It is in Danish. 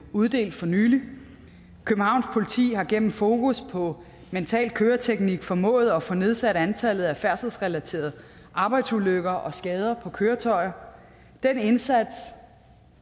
uddelt for nylig københavns politi har gennem fokus på mental køreteknik formået at få nedsat antallet af færdselsrelaterede arbejdsulykker og skader på køretøjer den indsats